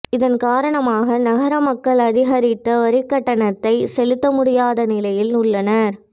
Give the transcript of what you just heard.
இதன் காரணமாக நகர மக்கள் அதிகரித்த வரிக்கட்டணத்தை செலுத்த முடியாத நிலையில் உள்ளனர்